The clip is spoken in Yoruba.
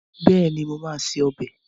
Bẹ́ẹ̀ni, mo máa se ọbẹ̀